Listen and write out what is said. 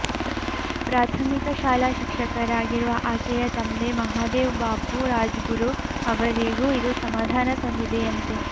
ಪ್ರಾಥಮಿಕ ಶಾಲಾ ಶಿಕ್ಷಕರಾಗಿರುವ ಆಕೆಯ ತಂದೆ ಮಹಾದೇವ್ ಬಾಪು ರಾಜ್ಗುರು ಅವರಿಗೂ ಇದು ಸಮಾಧಾನ ತಂದಿದೆಯಂತೆ